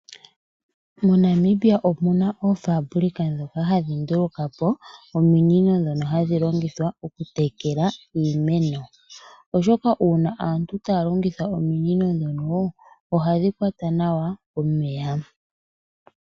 MoNamibia omuna oofaabulika ndoka hadhi nduluka po ominino ndhoka dhoku tekela iimeno, oshoka uuna aantu taya longitha ominino ndhono oha dhi kwata nawa omeya.